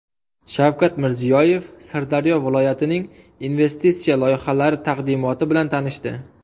Shavkat Mirziyoyev Sirdaryo viloyatining investitsiya loyihalari taqdimoti bilan tanishdi.